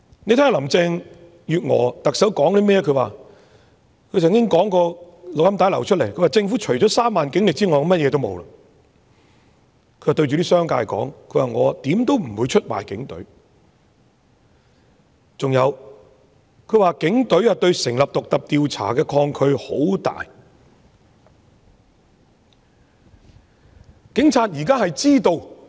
我們從流出的錄音聲帶聽到她說政府除了3萬警力外便甚麼也沒有，她對在場的商界說她如何也不會出賣警隊，還有她說警隊對成立獨立調查委員會有很大抗拒。